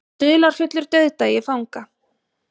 Dularfullur dauðdagi fanga